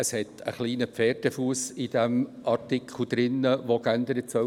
Der Artikel, welcher geändert werden soll, hat einen kleinen Pferdefuss.